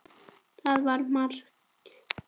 Það var margt.